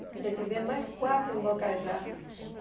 Ainda tivemos mais quatro em Bocajá.